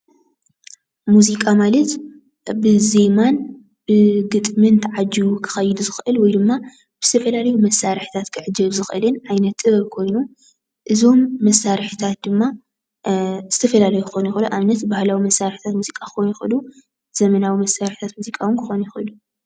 ሙዚቃ ማለት ብዜማን ብግጥምን ተዓጂቡ ክኸይድ ዝኽእል ወይድማ ብዝተፈላለዩ መሳርሕታት ክዕጀብ ዝኽእልን ዓይነት ጥበበ ኮይኑ እዞም መሳርሕታት ድማ ዝተፈላለዩ ክኾኑ ይኽእሉ። ንኣብነት ባህላዊ መሳርሕታት ሙዚቃ ክኾኑ ይኽእሉ፣ ዘመናዊ መሳርሕታት ሙዚቃ ዉን ክኾኑ ይኽእሉ።